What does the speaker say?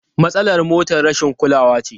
Matsalar motar rashin kulawa ce.